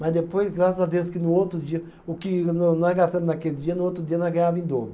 Mas depois, graças a Deus, que no outro dia, o que nós gastamos naquele dia, no outro dia nós ganhava em dobro.